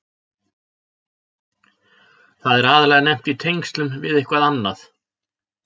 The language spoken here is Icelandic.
Það er aðallega nefnt í tengslum við eitthvað annað.